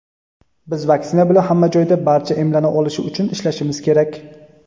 Biz vaksina bilan hamma joyda barcha emlana olishi uchun ishlashimiz kerak.